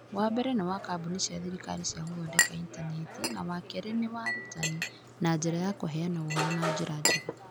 Wa mbere nĩ wa kambuni cia thirikari cia gũthondeka intaneti, na wa kerĩ nĩ wa arutani, na njĩra ya kũheana ũhoro na njĩra njega.